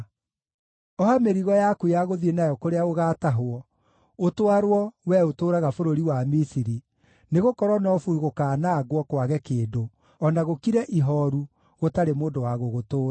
Oha mĩrigo yaku ya gũthiĩ nayo kũrĩa ũgaatahwo, ũtwarwo, wee ũtũũraga bũrũri wa Misiri, nĩgũkorwo Nofu gũkaanangwo, kwage kĩndũ, o na gũkire ihooru, gũtarĩ mũndũ wa gũgũtũũra.